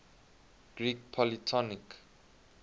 greek polytonic